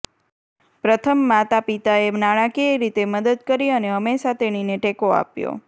પ્રથમ માતાપિતાએ નાણાકીય રીતે મદદ કરી અને હંમેશા તેણીને ટેકો આપ્યો